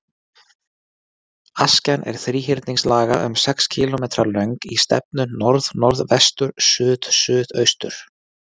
Askjan er þríhyrningslaga, um sex kílómetra löng í stefnu norðnorðvestur-suðsuðaustur.